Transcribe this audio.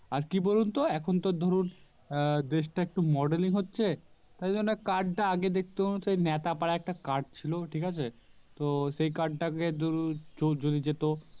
আরকি বলুন তো এখন তো ধরুন আহ দেশটা একটু Modeling হচ্ছে সেইজন্যে Card টা দেখতেন সেই নেতা পারা একটা Card ছিল ঠিক আছে তো সেই Card টাকে দুরু দুরু যেত